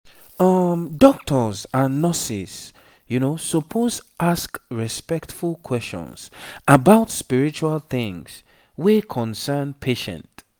um doctors and nurses suppose ask respectful questions about spiritual things wey concern patient.